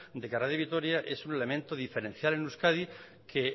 de que radio vitoria es un elemento diferencial en euskadi que